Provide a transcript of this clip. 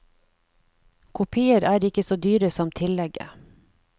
Kopier er ikke så dyre som tillegget.